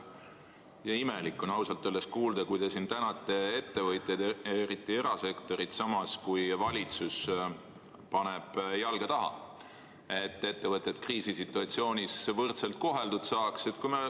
Ja imelik on ausalt öeldes kuulda, kui te tänate ettevõtjaid, eriti erasektorit, samas kui valitsus paneb jalga taha, kui soovitakse, et ettevõtted kriisisituatsioonis võrdselt koheldud saaks.